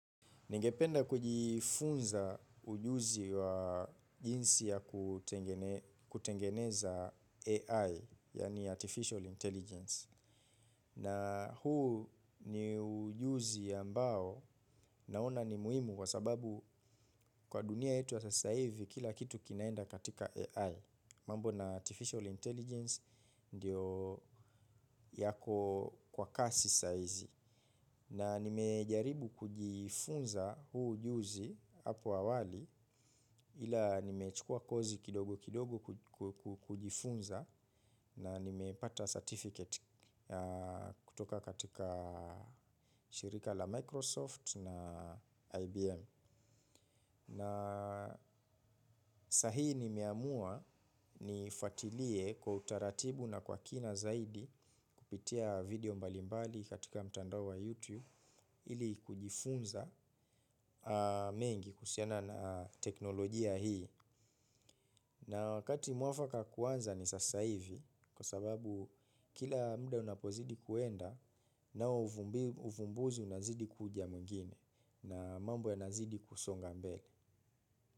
Ningependa kujifunza ujuzi wa jinsi ya kutengeneza AI, yani Artificial Intelligence. Na huu ni ujuzi ambao naona ni muhimu kwa sababu kwa dunia yetu ya sasahivi kila kitu kinaenda katika AI. Mambo na Artificial Intelligence ndiyo yako kwa kasi saizi. Na nimejaribu kujifunza huu ujuzi hapo awali ila nimechukua kosi kidogo kidogo kujifunza na nimepata certificate kutoka katika shirika la Microsoft na IBM. Na sahi nimeamua niifwatilie kwa utaratibu na kwa kina zaidi kupitia video mbalimbali katika mtandao wa YouTube ili kujifunza mengi kuhusiana na teknolojia hii. Na wakati mwafaka kuanza ni sasa hivi kwa sababu kila mda unapozidi kuenda nao uvumbuzi unazidi kuja mwingine na mambo yanazidi kusonga mbele.